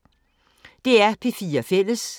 DR P4 Fælles